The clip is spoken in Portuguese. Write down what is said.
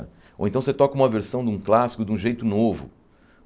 Ou então você toca uma versão de um clássico de um jeito novo.